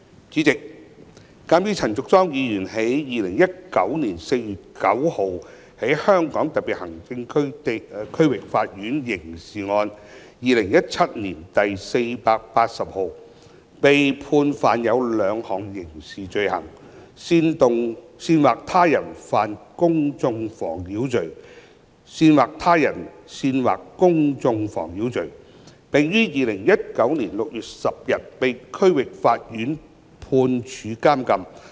主席，鑒於陳淑莊議員於2019年4月9日在香港特別行政區區域法院刑事案件2017年第480號，被判犯有兩項刑事罪行，包括煽惑他人犯公眾妨擾罪及煽惑他人煽惑公眾妨擾罪，並於2019年6月10日被區域法院判處監禁。